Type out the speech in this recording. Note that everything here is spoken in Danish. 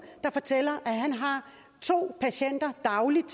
der fortæller at han har to patienter dagligt